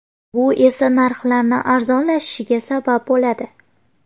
Bu esa narxlarni arzonlashishiga sabab bo‘ladi.